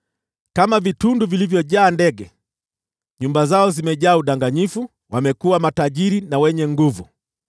Kama vitundu vilivyojaa ndege, nyumba zao zimejaa udanganyifu; wamekuwa matajiri na wenye nguvu,